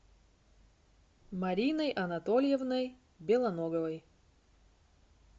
мариной анатольевной белоноговой